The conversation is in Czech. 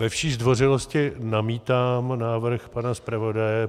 Ve vší zdvořilosti namítám návrh pana zpravodaje.